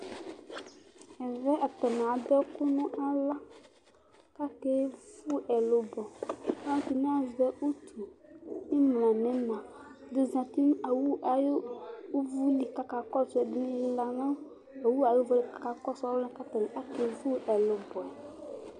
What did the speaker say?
Ɛvɛ atani adʋ ɛkʋ nʋ aɣla, kʋ akevʋ ɛlʋbɔ, alʋɛdini azɛ utu, imla nʋ ina Ɛdi zati nʋ awʋ ayʋ ʋvʋli kʋ akakɔsʋ, ɛdini lilanʋ awʋ ayʋ ʋvʋ yɛ kʋ akakɔsʋ alʋ wani kʋ akevʋ ɛlʋbɔ yɛ